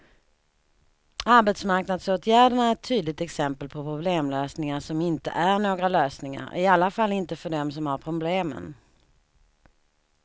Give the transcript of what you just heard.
Arbetsmarknadsåtgärderna är ett tydligt exempel på problemlösningar som inte är några lösningar, i alla fall inte för dem som har problemen.